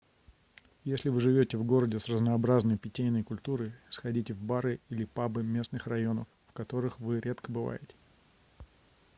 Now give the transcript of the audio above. если вы живёте в городе с разнообразной питейной культурой сходите в бары или пабы местных районов в которых вы редко бываете